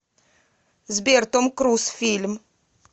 сбер том круз фильм